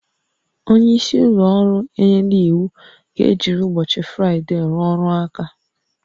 Onye isi ụlọ ọrụ enyela iwu ka ejiri ụbọchị Fraịde rụọ ọrụ aka